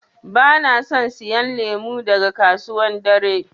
Bana son siyan lemu daga kasuwan dare.